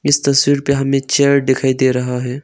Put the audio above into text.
इस तस्वीर पे हमें चेयर दिखाई दे रहा है।